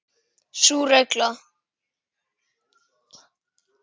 Sú regla.